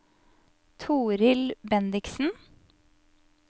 Torild Bendiksen